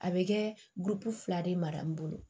A bɛ kɛ fila de mara n bolo